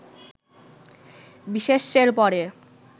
বিশেষ্যের পরে